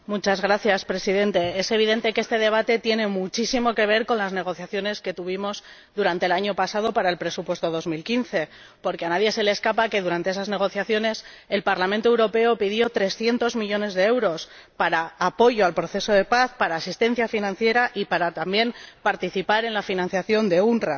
Señor Presidente, es evidente que este debate tiene muchísimo que ver con las negociaciones que tuvimos durante el año pasado para el presupuesto de 2015, porque a nadie se le escapa que durante esas negociaciones el Parlamento Europeo pidió 300 millones de euros para el apoyo al proceso de paz, para la asistencia financiera, y también para participar en la financiación de la UNRWA.